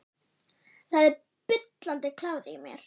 Það er bullandi kláði í mér.